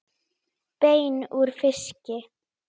Við þetta situr enn.